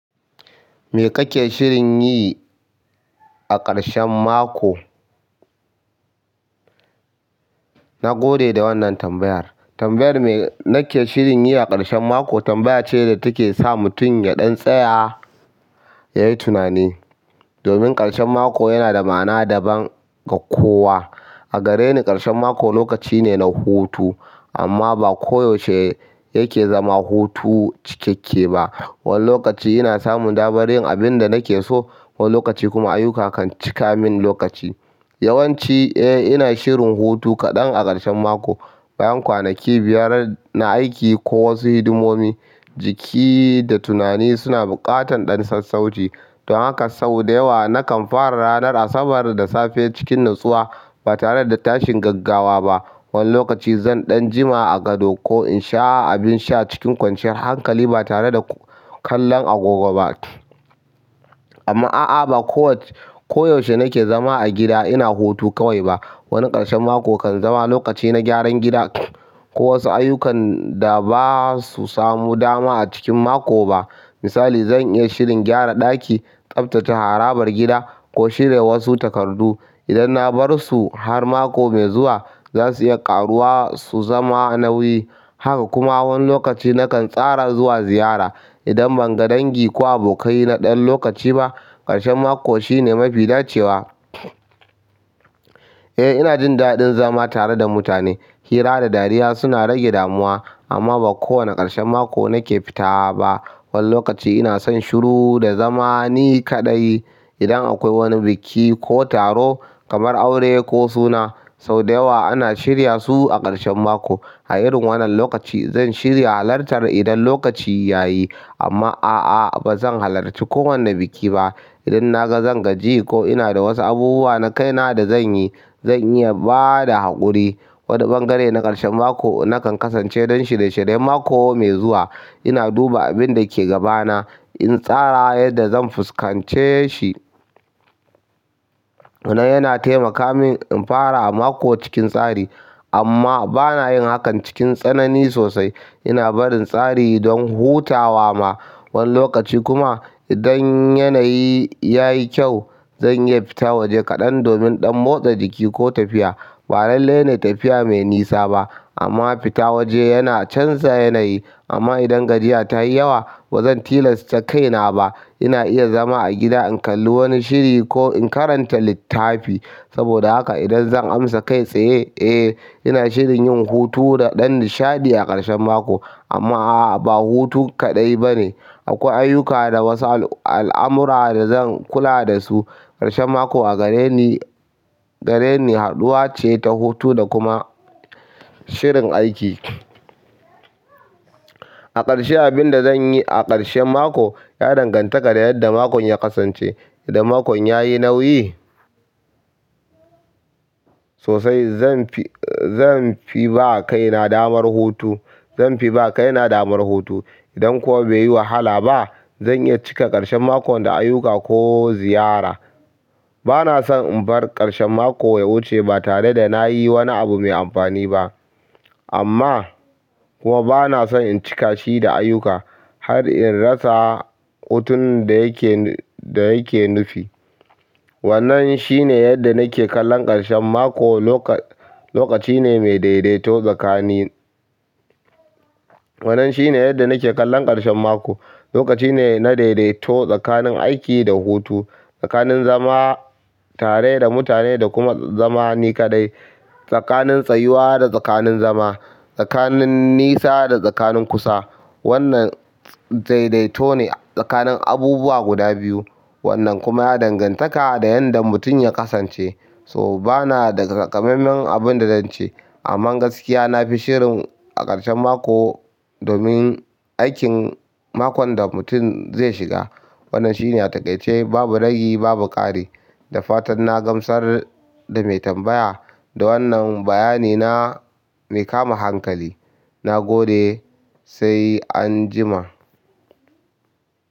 Me kake shirin yi a ƙarshen mako? Na gode da wannan tambayar. Tambayar me nake shirin yi a ƙarshen mako tambaya ce da take sa mutum ya ɗan tsaya, yayi tunani. Domin ƙarshen mako yana da ma'ana daban ga kowa. A gare ni ƙarshen maƙo lokaci ne na hutu amma ba koyaushe yake zama hutu cikakke ba. Wani lokaci ina samun damar yin abin da nake so, wani lokaci kuma ayyuka kan cika min lokaci. Yawan ci, eh ina shirin hutu kaɗan a ƙarshen mako. Bayan kwanaki biyar na aiki ko wasu hidimomi jiki da tunani suna buƙatan ɗan sas sauci don haka sau da yawa nakan fara ranar Asabar da safe cikin natsuwa ba tare da tashin gaggawa ba. Wani lokaci zan ɗan jima a gado ko in sha abin sha cikin kwanciyar hankali ba tare da kallon agogo ba. Amma a'a ba kowace koyaushe nake zama a gida ina hutu kawai ba. Wani ƙarshen mako kan zama lokaci na gyaran gida ko wasu ayyukan da ba su samu dama a cikin mako ba. Misali zan iya shirin gyara ɗaki, tsaftace harabar gida ko shirya wasu takardu. Idan na bar su har mako mai zuwa za su iya ƙaruwa su zama nauyi. Haka kuma wani lokaci nakan tsara zuwa ziyara idan ban ga dangi ko abokai na ɗan lokaci ba. Ƙarshen mako shine mafi dacewa. Eh ina jin daɗin zama tare da mutane. Hira da dariya suna rage damuwa amma ba kowane ƙarshen mako nake fita ba. Wani lokaci ina son shiru da zama ni kaɗai. Idan akwai wani biki ko taro kamar aure ko suna sau da yawa ana shirya su a ƙarshen mako. A irin wannan lokaci zan shirya halartar idan lokaci yayi amma a'a ba zan halarci kowane biki ba. Idan na ga zan gaji ko ina da wasu abubuwa na kaina da zan yi zan iya ba da haƙuri. Wani bangare na ƙarshen mako nakan kasance don shirye shiryen mako mai zuwa. Ina duba abin da ke gabana in tsara yadda zan fuskance shi. Wannan yana taimaka min in fara a mako cikin tsari amma bana yin hakan cikin tsanani sosai. Ina barin tsari don hutawa ma wani lokaci kuma idan yanayi ya yi kyau zan iya fita waje kaɗan domin ɗan motsa jiki ko tafiya. Ba lallai ne tafiya mai nisa ba amma fita waje yana canza yanayi. Amma idan gajiya ta yi yawa bazan tilasta kaina ba. Ina iya zama a gida in kalli wani shiri ko in karanta littafi. Saboda haka idan zan amsa kai tsaye, eh ina shirin yin hutu da ɗan nishaɗi a ƙarshen mako amma a'a ba hutu kaɗai bane. Akwai ayyuka da wasu al amura da zan kula da su. Ƙarshen mako a gare ni, gare ni haɗuwa ce ta hutu da kuma shirin aiki. A ƙarshe abin da zan yi a ƙarshen mako ya danganta da yadda makon ya kasance. Idan makon ya yi nauyi sosai zan fi, zan fi ba kaina damar hutu. Zan fi ba kaina damar hutu. Idan kuwa bai yi wahala ba zan iya cika ƙarshen makon da ayyuka ko ziyara. Bana son in bar ƙarshen mako ya wuce ba tare da na yi wani abu mai amfani ba amma kuwa bana son in cika shi da ayyuka har in rasa hutun da yake, da yake nufi. Wannan shine yadda nake kallon ƙarshen mako. Lokaci ne mai dai dai to tsakanin wannan shine yadda nake kallon ƙarshen mako. Lokaci ne na daidaito tsakanin aiki da hutu, tsakanin zama tare da mutane da kuma zamani kaɗai, tsakanin tsayuwa da tsakanin zama, tsakanin nisa da tsakanin kusa. Wannan daidaito ne tsakanin abubuwa guda biyu. Wannan kuma ya dangantaka da yanda mutum ya kasance. To bana da taƙamam men abun da zan ce amman gaskiya na fi shirin a ƙarshen mako domin aikin makon da mutum zai shiga. Wannan shine a takaice babu ragi babu ƙari. Dafatan na gamsar da mai tambaya da wannan bayani na mai kama hankali na gode sai an jima.